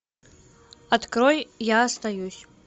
открой я остаюсь